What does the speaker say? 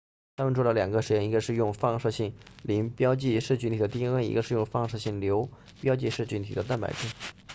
他们做了两个实验一个是用放射性磷标记噬菌体的 dna 一个是用放射性硫标记噬菌体的蛋白质